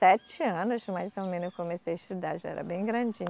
Sete anos mais ou menos eu comecei a estudar, já era bem grandinha.